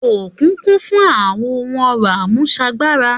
Òkun kún fún àwọn ohun ọrọ àmúsagbára